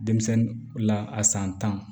Denmisɛnnin la a san tan